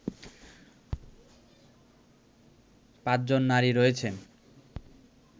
পাঁচজন নারী রয়েছেন